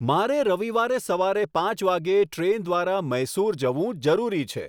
મારે રવિવારે સવારે પાંચ વાગ્યે ટ્રેન દ્વારા મૈસુર જવું જરૂરી છે